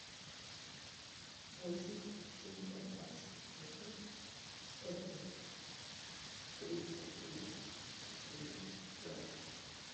восемь семьсот двадцать восемь сто пять тридцать три четыре ноль